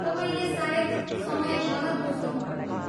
तपाईँले सायद समय गलत बुझ्नुभयो होला।